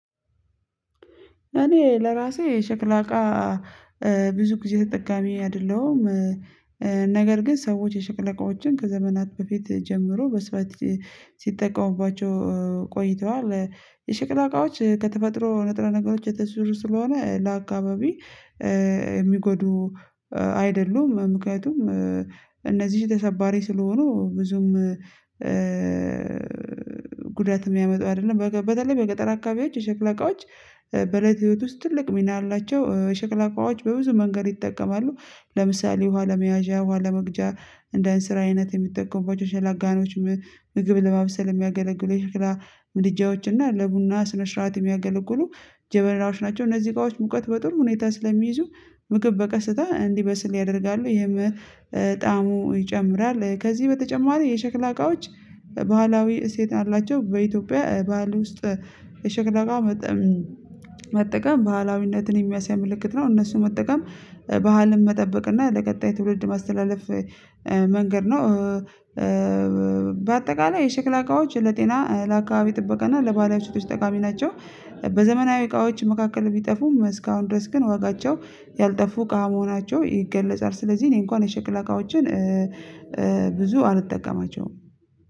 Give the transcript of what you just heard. እኔ ለራሴ ሸክላ እቃ ብዙ ጊዜ ተጠቃሚ አይደለሁም ግን ሰዎች የሽክላ እቃዎችን ከዘመናት በፊት ጀምሮ በስብስብ ሲጠቀሙባቸው የሸክላ እቃዎች ከተፈጥሮ ንጥረ ነገሮች የተሰሩ ስለሆነ ለአካባቢ ሚጎዱ አይደሉም ምክንያቱም እነዚህ ተሰባሪ ስለሆኑ ብዙም ጉዳት የሚያመጡ አይደለም። በተለይ በገጠር አካባቢዎች የሸክላ እቃዎች በእለት ህይወት ውስጥ ትልቅ ሚና አላቸው። ሸክላ እቃዎች በብዙ መንገድ ይጠቀማሉ። ለምሳሌ ውሃ ለመያዣ ውሃ ለመቅጃ እንደ እንስራ አይነት የሚጠቀሙ ምግብ ለማብሰል የሚያገለግሉ የሽክላ ምድጃዎች እና ለቡና ስነስርአት የሚያገለግሉ ጀበናዎች ናቸው። እነዚህ እቃዎች ሙቀት በጥሩ ሁኔታ ስለሚይዙ ምግብ በቀስታ እንዲበስል ያደርጋሉ። የመጣሙ ይጨምራል። ከዚህ በተጨማሪ የሸክላ እቃዎች ባህላዊ እሴት አላቸው። በኢትዮጵያ ባህል ውስጥ የሸክላ እቃ መጠቀም ባህላዊነትን የሚያሳይ ምልክት ነው። እነሱን መጠቀም ባህልን መጠበቅ እና ለቀጣይ ትውልድ ማስተላለፍ መንገድ ነው። በአጠቃላይ የሽክላ እቃዎች ለጤና ለአካባቢ ጥበቃ እና ለባህላዊ እሴቶች ጠቃሚ ናቸው። በዘመናዊ እቃዎች መካከል ቢጠፉም እስካሁን ድረስ ግን ዋጋቸው ያልጠፉ እቃ መሆናቸው ይገለጻል። ስለዚህ እኔ እንኳን የሸክላ እቃዎችን ብዙ አልጠቀማቸውም።